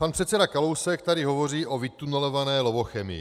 Pan předseda Kalousek tady hovoří o vytunelované Lovochemii.